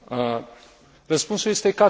Răspunsul este categoric da.